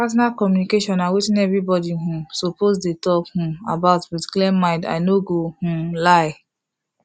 partner communication na wetin everybody um suppose dey talk um about with clear mind i no go um lie